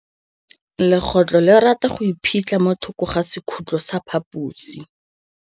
Legôtlô le rata go iphitlha mo thokô ga sekhutlo sa phaposi.